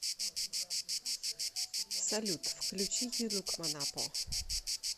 салют включи юлукманапо